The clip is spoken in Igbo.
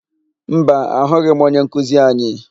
Mba, ahụghị m onyenkuzi anyị.